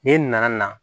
N'e nana na